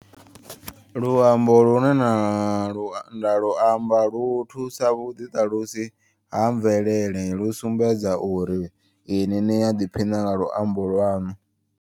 Luambo lune nda lu nda luamba lu thusa vhuḓi ṱalusi ha mvelele. Lu sumbedza uri ini ni ya ḓiphina nga luambo lwaṋu.